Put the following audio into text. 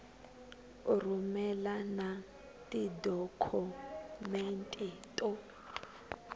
u rhumela na tidokhumente to